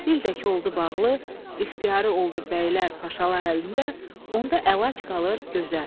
Dil də ki oldu bağlı, ixtiyarı oldu bəylər, paşalar əlində, onda əlac qalır gözə.